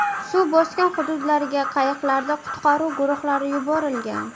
Suv bosgan hududlarga qayiqlarda qutqaruv guruhlari yuborilgan.